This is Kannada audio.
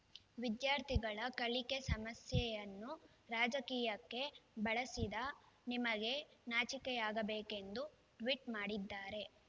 ವಿದ್ಯಾರ್ಥಿಗಳ ಕಲಿಕೆ ಸಮಸ್ಯೆಯನ್ನು ರಾಜಕೀಯಕ್ಕೆ ಬಳಸಿದ ನಿಮಗೆ ನಾಚಿಕೆಯಾಗಬೇಕೆಂದು ಟ್ವೀಟ್ ಮಾಡಿದ್ದಾರೆ